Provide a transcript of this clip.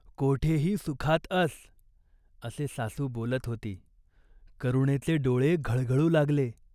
कोठेही सुखात अस !" असे सासू बोलत होती. करुणेचे डोळे घळघळू लागले.